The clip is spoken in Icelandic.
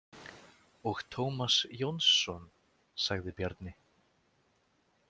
Og Tómas Jónsson, sagði Bjarni.